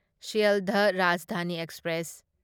Sealdah Rajdhani express